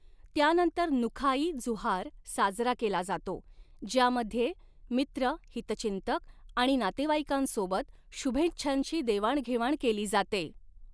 त्यानंतर नुखाई जुहार साजरा केला जातो, ज्यामध्ये मित्र, हितचिंतक आणि नातेवाईकांसोबत शुभेच्छांची देवाणघेवाण केली जाते.